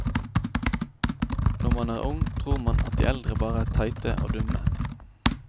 Når man er ung, tror man at de eldre bare er teite og dumme.